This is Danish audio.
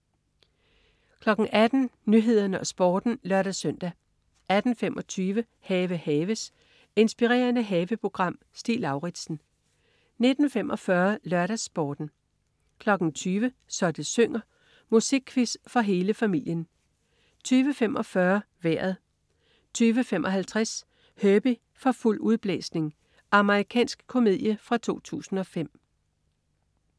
18.00 Nyhederne og Sporten (lør-søn) 18.25 Have haves. Inspirerende haveprogram. Stig Lauritsen 19.45 LørdagsSporten 20.00 Så det synger. Musikquiz for hele familien 20.45 Vejret 20.55 Herbie for fuld udblæsning. Amerikansk komedie fra 2005